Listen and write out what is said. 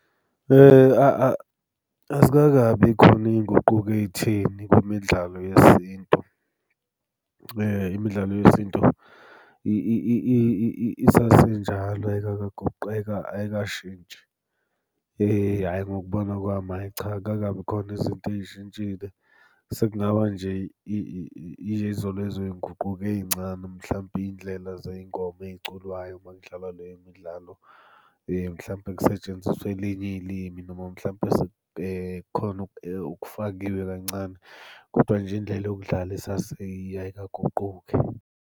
Azikakabi khona iy'nguquko ey'theni kwimidlalo yesintu. Imidlalo yesintu isasenjalo ayikakagoqeka ayikashintshi. hhayi ngokubona kwami hhayi cha akukakabi khona izinto ey'shintshile, sekungaba nje ilezo lezoy'nguquko ey'ncane mhlampe iy'ndlela zey'ngoma ey'culwayo uma kudlalwa le midlalo. Mhlampe kusetshenziswa elinye ilimi noma mhlampe khona okufakiwe kancane, kodwa nje indlela yokudlala isaseyiyo ayikaguquki.